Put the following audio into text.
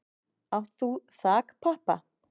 Átt þú þakpappa?